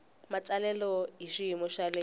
matsalelo hi xiyimo xa le